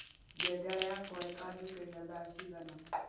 ngengere yakwa ikanjũkĩria thaa cigana